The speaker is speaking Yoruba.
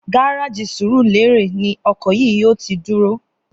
Gáráàjì Sùrúlérè ni o̩kò̩ yìí yóò ti dúró